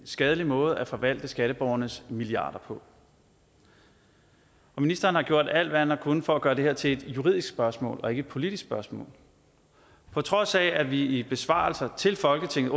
skadelig måde at forvalte skatteborgernes milliarder på og ministeren har gjort alt hvad han har kunnet for at gøre det her til et juridisk spørgsmål og ikke et politisk spørgsmål på trods af at vi i besvarelser til folketinget